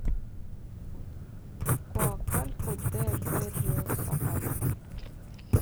коакалько де берриосабаль